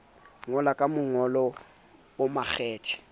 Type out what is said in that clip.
ngola ka mongolo o makgethe